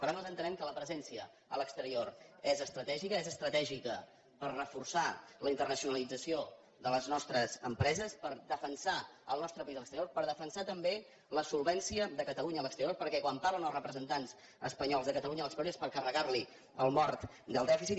per tant nosaltres entenem que la presència a l’exterior és estratègica és estratègica per reforçar la internacionalització de les nostres empreses per defensar el nostre país a l’exterior per defensar també la solvència de catalunya a l’exterior perquè quan parlen els representants espanyols de catalunya a l’exterior és per carregar li el mort del dèficit